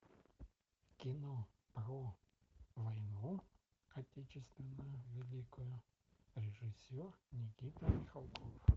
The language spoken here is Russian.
кино про войну отечественную великую режиссер никита михалков